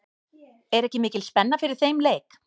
Er ekki mikil spenna fyrir þeim leik?